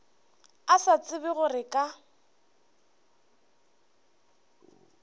a sa tsebe gore ka